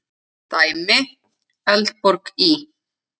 Dæmi: Eldborg í